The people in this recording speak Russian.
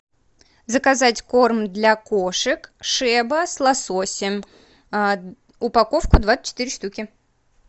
заказать корм для кошек шеба с лососем упаковка двадцать четыре штуки